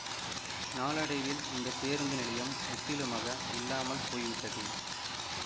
நாளடைவில் இந்த பேருந்து நிலையம் முற்றிலுமாக இல்லாமல் போய்விட்டது